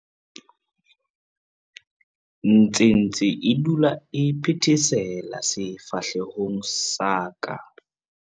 Nthsintshi e dula e phethesela sefahlehong sa ka.